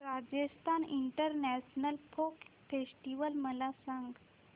Rajasthan international folk festival मला सांग